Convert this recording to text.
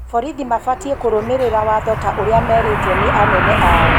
Borithi mabatiĩ kũrũmĩrĩra waatho ta ũrĩa meerĩtwo nĩ anene aao